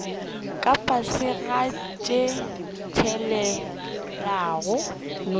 ka fase ga tše tshelelago